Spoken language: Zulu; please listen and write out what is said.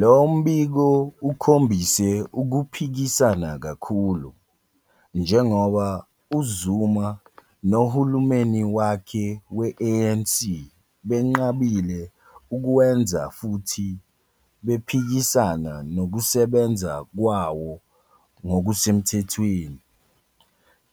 Lo mbiko ukhombise ukuphikisana kakhulu, njengoba uZuma nohulumeni wakhe we- ANC benqabile ukuwenza futhi bephikisana nokusebenza kwawo ngokusemthethweni.